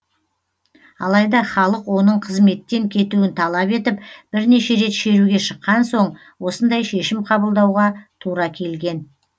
алайда халық оның қызметтен кетуін талап етіп бірнеше рет шеруге шыққан соң осындай шешім қабылдауға тура келген